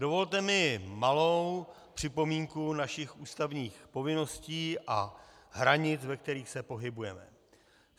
Dovolte mi malou připomínku našich ústavních povinností a hranic, ve kterých se pohybujeme.